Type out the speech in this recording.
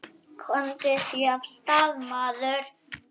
Komdu þér af stað, maður!